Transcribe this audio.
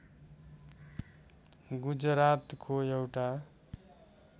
गुजरातको एउटा